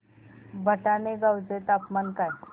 भटाणे गावाचे तापमान काय आहे